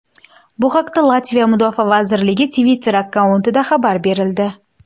Bu haqda Latviya mudofaa vazirligi Twitter-akkauntida xabar berildi .